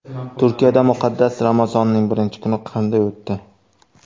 Turkiyada muqaddas Ramazonning birinchi kuni qanday o‘tdi .